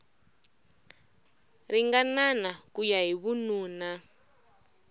ringanana ku ya hi vununa